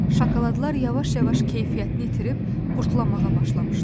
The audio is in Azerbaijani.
Şokoladlar yavaş-yavaş keyfiyyətini itirib qurdalamağa başlamışdı.